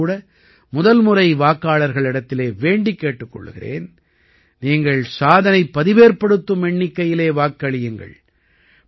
நானும் கூட முதல்முறை வாக்காளர்களிடத்திலே வேண்டிக் கேட்டுக் கொள்கிறேன் நீங்கள் சாதனைப்பதிவேற்படுத்தும் எண்ணிக்கையிலே வாக்களியுங்கள்